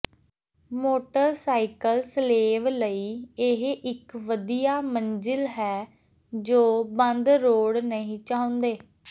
motorcycle ਸਲੇਵ ਲਈ ਇਹ ਇੱਕ ਵਧੀਆ ਮੰਜ਼ਿਲ ਹੈ ਜੋ ਬੰਦ ਰੋਡ ਨਹੀਂ ਚਾਹੁੰਦੇ